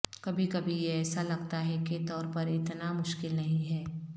کبھی کبھی یہ ایسا لگتا ہے کے طور پر اتنا مشکل نہیں ہے